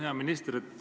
Hea minister!